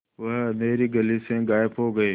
वह अँधेरी गली से गायब हो गए